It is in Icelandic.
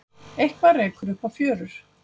Eitthað rekur upp á fjörur